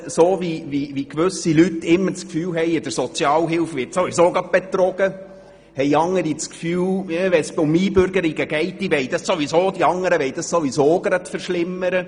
So, wie gewisse Leute immer gleich das Gefühl haben, in der Sozialhilfe werde sowieso betrogen, haben andere das Gefühl, wenn es um Einbürgerungen geht, wollten die anderen die Bedingungen sowieso verschlimmern.